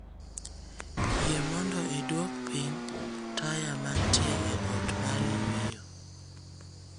Yie mondo iduok piny taya mantie e ot mar yweyo